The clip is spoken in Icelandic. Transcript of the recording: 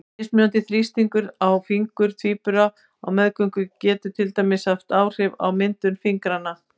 Mismunandi þrýstingur á fingur tvíbura á meðgöngu getur til dæmis haft áhrif á myndun fingrafara.